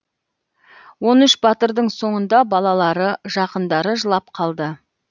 он үш батырдың соңында балалары жақындары жылап қалды